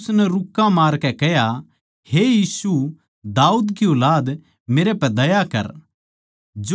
फेर उसनै रुक्का मारकै कह्या हे यीशु दाऊद की ऊलाद मेरै पै दया कर